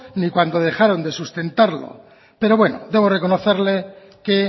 ni cuando dejaron de sustentarlo pero bueno debo reconocerle que